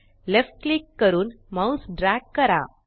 left click करून mouse drag करा